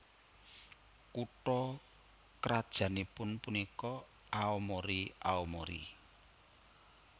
Kutha krajannipun punika Aomori Aomori